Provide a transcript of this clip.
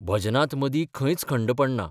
भजनांत मदी खंयच खंड पडना.